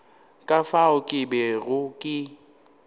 ka fao ke bego ke